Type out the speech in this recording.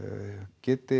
geti